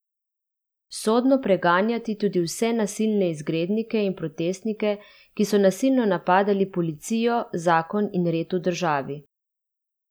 Sodno preganjati tudi vse nasilne izgrednike in protestnike, ki so nasilno napadali policijo, zakon in red v državi.